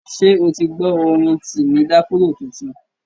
Ṣé o ti gbọ́ orin Timi Dakolo tuntun?